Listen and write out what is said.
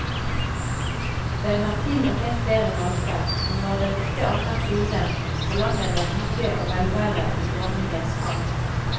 Den har til og med flere hvalper, og når den ikke ammer sine, forlanger den hygge og velvære i dronningens fang.